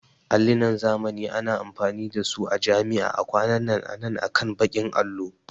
Allinan zamani ana amfani da su a jami'a a kwanan nan akan bakin allo